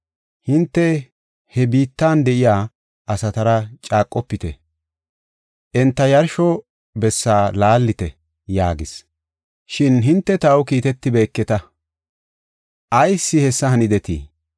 hinte ha biittan de7iya asatara caaqofite; enta yarsho bessa laallite’ yaagas. Shin hinte taw kiitetibeketa; ayis hessa hanidetii?